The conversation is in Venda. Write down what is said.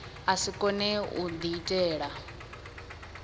a si kone u diitela